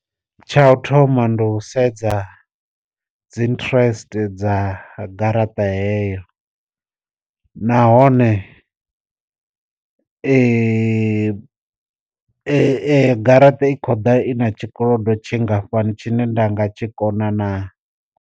Tsha u thoma ndi u sedza dzi interest dza garaṱa heyo, nahone garaṱa i khou ḓa i na tshikolodo tshingafhani tshine nda nga tshi kona na.